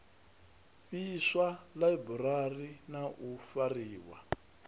fhiswa ḽaiburari na u fariwa